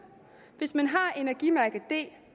hvis man har et energimærke d